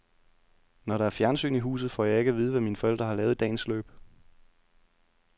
Når der er fjernsyn i huset, får jeg ikke at vide, hvad mine forældre har lavet i dagens løb.